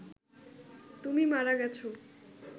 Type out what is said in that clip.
তুমি মারা গেছ